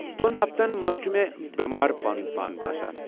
دۄن ہفتن منٛز چُھ مےٚ بٮ۪مار پنُن پان باسان۔